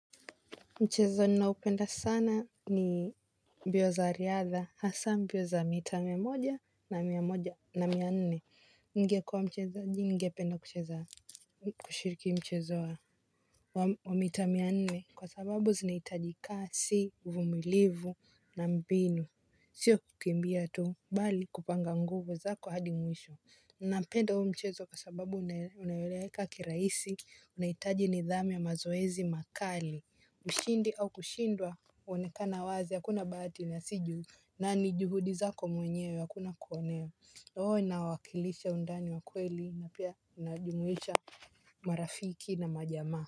Mchezo ninaopenda sana ni mbio za riadha, hasa mbio za mita mia moja na mia moja na mia nne. Ningekua mchezaji ningependa kushiriki mchezo wa mita mia nne. Kwa sababu zinahitajika kasi uvumilivu na mbinu. Sio kukimbia tu, bali kupanga nguvu zako hadi mwisho. Napenda huo mchezo kwa sababu unayoeleweka kirahisi, unahitaji nidhamu ya mazoezi makali. Ushindi au kushindwa huonekana wazi hakuna bahati nasibu na ni juhudi zako mwenyewe hakuna kuonewa inawakilisha undani wa kweli na pia inajumuisha marafiki na majamaa.